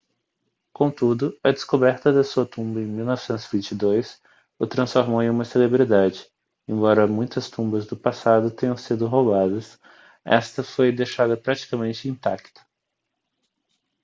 contudo a descoberta de sua tumba em 1922 o transformou em uma celebridade embora muitas tumbas do passado tenham sido roubadas esta foi deixada praticamente intacta